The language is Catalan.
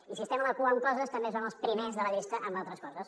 i si estem a la cua en coses també som els primers de la llista amb altres coses